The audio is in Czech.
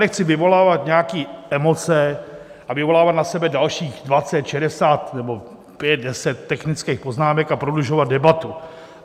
Nechci vyvolávat nějaké emoce a vyvolávat na sebe dalších 20, 60 nebo 5, 10 technických poznámek a prodlužovat debatu.